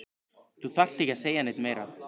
Þú þarft ekki að segja neitt meira